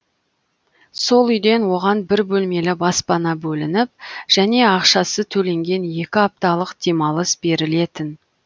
сол үйден оған бір бөлмелі баспана бөлініп және ақшасы төленген екі апталық демалыс берілетін